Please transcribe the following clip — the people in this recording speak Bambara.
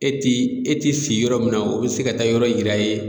E ti e ti si yɔrɔ min na o be se ka taa yɔrɔ yira i ye